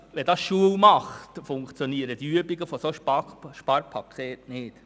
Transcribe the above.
Wenn das zur Normalität wird, funktionieren solche Bemühungen für Sparpakete nicht.